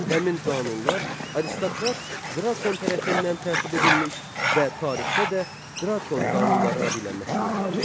Həmin qanunlar aristokrat Drakon tərəfindən tərtib edilmiş və tarixdə də Drakon qanunları adı ilə məşhurdur.